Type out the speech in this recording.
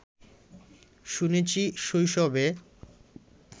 শুনেছি শৈশবে